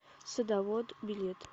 садовод билет